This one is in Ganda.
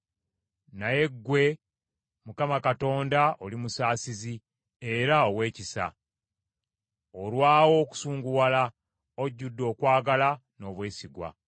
Naye ggwe, Mukama Katonda oli musaasizi era ow’ekisa, olwawo okusunguwala, ojjudde okwagala n’obwesigwa.